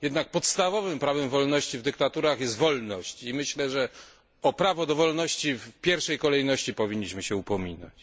Jednak podstawowym prawem wolności w dyktaturach jest wolność i myślę, że o prawo do wolności w pierwszej kolejności powinniśmy się upominać.